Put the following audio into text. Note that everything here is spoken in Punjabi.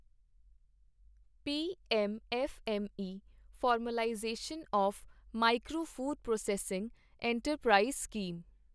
PM FME formalisation of micro food processing enterprise scheme